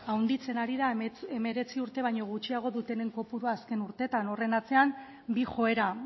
handitzen ari da hemeretzi urte baino gutxiago dutenen kopurua azken urteetan horren atzean bi joera